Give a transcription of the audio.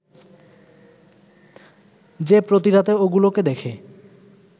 যে প্রতি রাতে ওগুলোকে দেখে